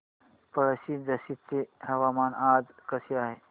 पळशी झाशीचे हवामान आज कसे आहे